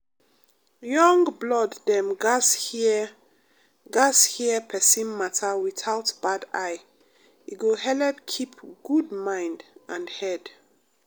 young blood dem gatz hear gatz hear persin matter without bad eye e go helep keep good mind and head.